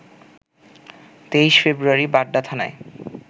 ২৩ February Badda থানায়